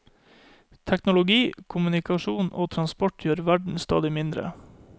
Teknologi, kommunikasjon og transport gjør verden stadig mindre.